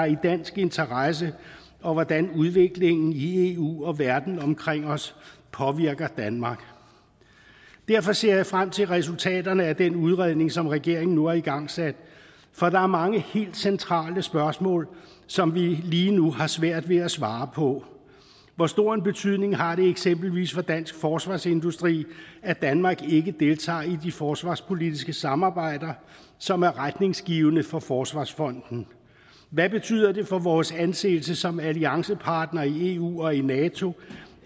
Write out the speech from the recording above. i dansk interesse og hvordan udviklingen i eu og verden omkring os påvirker danmark derfor ser jeg frem til resultaterne af den udredning som regeringen nu har igangsat for der er mange helt centrale spørgsmål som vi lige nu har svært ved at svare på hvor stor en betydning har det eksempelvis for dansk forsvarsindustri at danmark ikke deltager i de forsvarspolitiske samarbejder som er retningsgivende for forsvarsfonden hvad betyder det for vores anseelse som alliancepartnere i eu og i nato